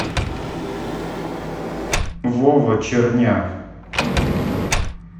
вова черняк